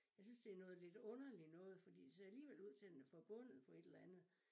Jeg synes det noget lidt underligt noget fordi det ser alligevel ud til den er forbundet på et eller andet